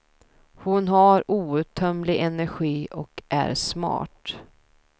Hon har outtömlig energi och är smart.